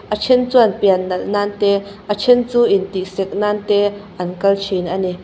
a then chuan pian nalh nan te a then chu intih sek nan te an kal thin a ni.